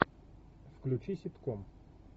включи ситком